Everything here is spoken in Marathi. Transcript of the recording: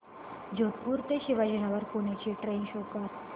जोधपुर ते शिवाजीनगर पुणे ची ट्रेन शो कर